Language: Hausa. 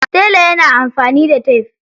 Tele yana amfani da tef.